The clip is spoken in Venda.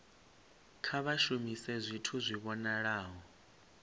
kha vha shumise zwithu zwi vhonalaho